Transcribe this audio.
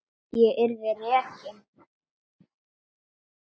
Ég yrði rekin.